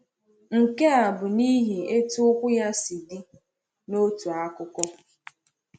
Nke a bụ n’ihi etu ụkwụ ya si dị, n’otu akụkụ.